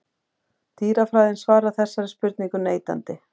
Dýrafræðin svarar þessari spurningu neitandi.